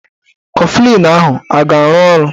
Kọflịn ahụ a ga-arụ ọrụ?